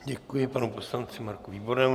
Děkuji panu poslanci Marku Výbornému.